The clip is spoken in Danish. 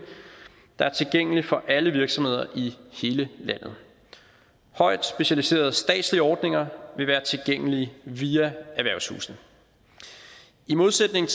der er tilgængelig for alle virksomheder i hele landet højt specialiserede statslige ordninger vil være tilgængelige via erhvervshusene i modsætning